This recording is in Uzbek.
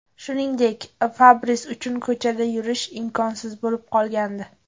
Shuningdek, Fabris uchun ko‘chada yurish imkonsiz bo‘lib qolgandi.